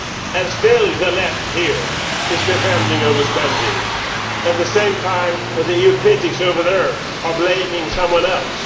And still the Left here is defending overspending, at the same time as EU critics over there are blaming someone else.